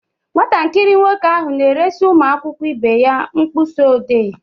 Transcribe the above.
Nwatakịrị nwoke ahụ na-eresị ụmụ akwụkwọ ibe ya mkpịsị ọdee.